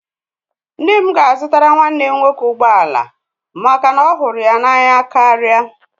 Nne m ga-azụtara nwanne m nwoke ụgbọ ala maka na ọ hụrụ ya n'anya karịa